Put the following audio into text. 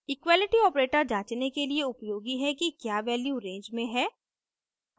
equality operator जांचने के लिए उपयोगी है कि क्या वैल्यू रेंज में है